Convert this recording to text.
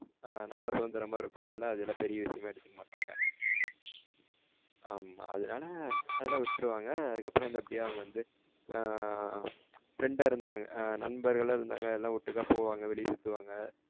நல்ல சுதந்திரமா இருக்க அதுல்லாம் பெரிய விஷயமா எடுத்துக்க மாட்டாங்க. ஆமா அதுனால அதுலாம் விட்ருவாங்க அதுக்கப்றம் வந்து அவங்க அப்டியே வந்து. ஆஹ்ன் friend ஆ இருந்தாங்க ஆஹ்ன் நண்பர்களா இருந்தாங்க ஓட்டுக்கா போவாங்க வெளில சுத்துவாங்க.